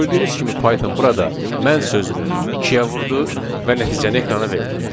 Gördüyünüz kimi Python burada mən sözünü ikiyə vurdu və nəticəni ekrana verdi.